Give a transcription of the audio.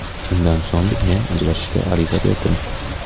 Shundan so‘ng men ajrashishga ariza berdim.